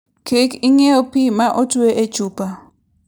Kik ing'iew pi ma otwe e chupa.